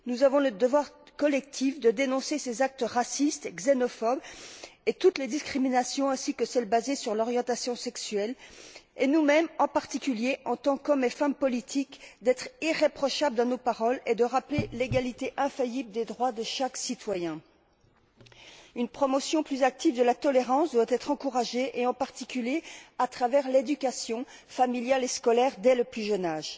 Nous avons le devoir collectif de dénoncer ces actes racistes et xénophobes et toutes les discriminations, notamment celles basées sur l'orientation sexuelle, et nous mêmes, en particulier, en tant qu'hommes et femmes politiques, d'être irréprochables dans nos paroles et de rappeler l'égalité infaillible des droits de chaque citoyen. Une promotion plus active de la tolérance doit être encouragée, en particulier, à travers l'éducation familiale et scolaire, dès le plus jeune âge.